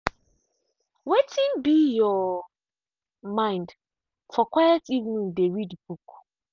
wetin be your mind for quiet evening dey read book.